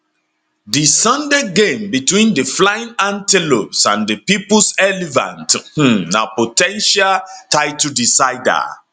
di sunday game between di flying antelopes and di peoples elephant um na po ten tial title decider